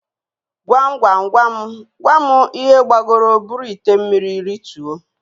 Gwam Gwam Gwam Gwam ihe gbagoro buru ite mmiri rituo?